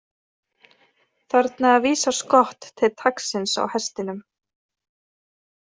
Þarna vísar skott til taglsins á hestinum.